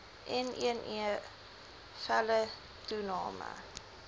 nne felle toename